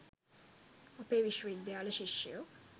අපේ විශ්ව විද්‍යාල ශිෂ්‍යයෝ